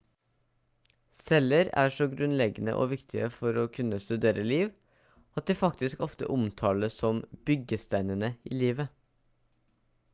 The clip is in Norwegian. celler er så grunnleggende og viktige for å kunne studere liv at de faktisk ofte omtales som «byggesteinene i livet»